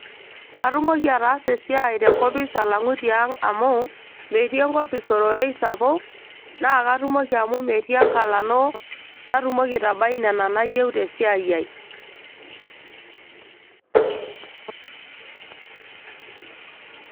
katumoki ataasa esiai tenkopis alang'u tiang amu metii enkopis ororei sapuk naa katumoki amu metii enkalano natumoki aitabai nena nauyieu tesiai ai.